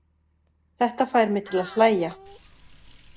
Þetta fær mig til að hlægja.